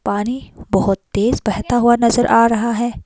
पानी बहोत तेज बहता हुआ नजर आ रहा है।